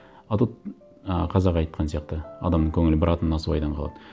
а тут ы қазақ айтқан сияқты адамның көңілі бір атым насыбайдан қалады